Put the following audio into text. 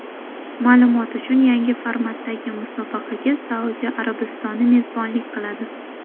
Ma’lumot uchun, yangi formatdagi musobaqaga Saudiya Arabistoni mezbonlik qiladi.